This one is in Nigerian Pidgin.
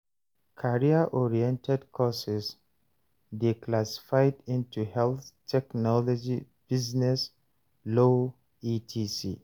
Career oriented courses de classified into health, technology, business, law etc